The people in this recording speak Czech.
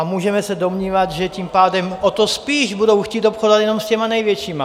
A můžeme se domnívat, že tím pádem o to spíš budou chtít obchodovat jenom s těmi největšími.